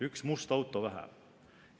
Üks must auto vähem.